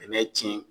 Bɛnɛ tiɲɛ